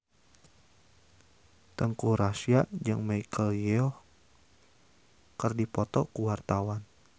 Teuku Rassya jeung Michelle Yeoh keur dipoto ku wartawan